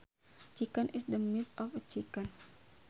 Chicken is the meat of a chicken